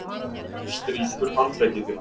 Þú strýkur handleggi þína.